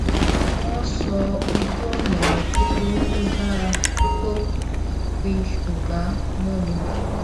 wọn sọ ojúọnà kúkúrú tó dára tó fi ṣúgà mọ mi